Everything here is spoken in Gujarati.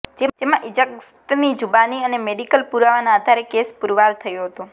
જેમાં ઇજાગસ્તની જુબાની અને મેડિકલ પુરાવાના આધારે કેસ પુરવાર થયો હતો